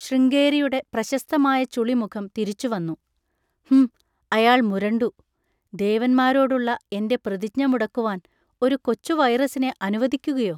ശൃംഗേരിയുടെ പ്രശസ്തമായ ചുളിമുഖം തിരിച്ചുവന്നു. ഹും, അയാൾ മുരണ്ടു. ദേവന്മാരോടുള്ള എൻ്റെ പ്രതിജ്ഞ മുടക്കുവാൻ ഒരു കൊച്ചുവൈറസിനെ അനുവദിക്കുകയോ?